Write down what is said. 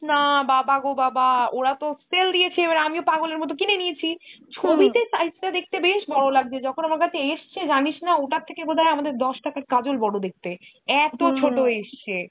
বলিস না বাবা গো বাবা। ওরা তো sale দিয়েছে এবার আমিও পাগলের মতো কিনে নিয়েছি। size টা দেখতে বেশ বড়ো লাগছে যখন আমার কাছে এসছে জানিস না ওটার থেকে বোধয় আমাদের দশ টাকার কাজল বড়ো দেখতে। ছোট এসছে।